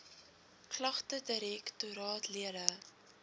klagtedirek toraat lede